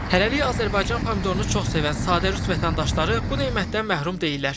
Hələlik Azərbaycan pomidorunu çox sevən sadə rus vətəndaşları bu nemətdən məhrum deyillər.